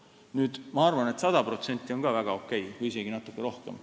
Nüüd, ma arvan, et sada protsenti on ka väga okei, või isegi natukene rohkem.